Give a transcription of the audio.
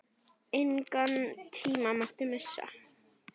Engan tíma mátti missa.